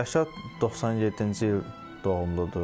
Rəşad 97-ci il doğumludur.